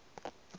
ya le ka mo a